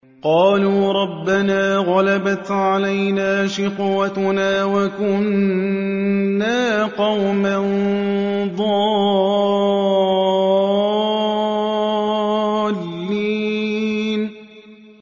قَالُوا رَبَّنَا غَلَبَتْ عَلَيْنَا شِقْوَتُنَا وَكُنَّا قَوْمًا ضَالِّينَ